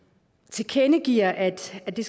tilkendegiver at det